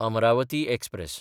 Amravati express